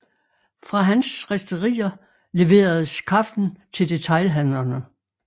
Fra hans risterier leveredes kaffen til detailhandlerne